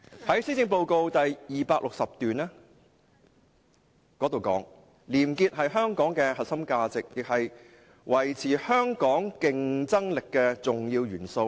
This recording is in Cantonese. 施政報告第269段提到，"廉潔是香港的核心價值，亦是維持香港競爭力的重要元素。